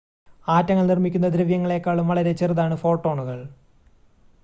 ആറ്റങ്ങൾ നിർമ്മിക്കുന്ന ദ്രവ്യങ്ങളെക്കാളും വളരെ ചെറുതാണ് ഫോട്ടോണുകൾ